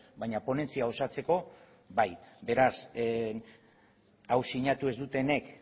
baina ponentzia osatzeko bai beraz hau sinatu ez dutenek